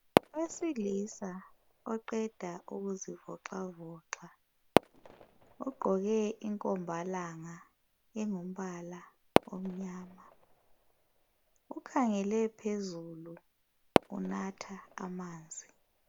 Owesilisa oqeda ukuzivoxavoxa ugqoke inkombalanga engumbala omnyama. Ukhangele phezulu unatha amanzi.